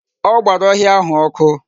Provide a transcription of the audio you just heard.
O gbara ohia ahu oku